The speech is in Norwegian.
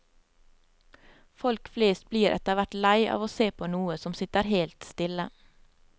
Folk flest blir etter hvert lei av å se på noe som sitter helt stille.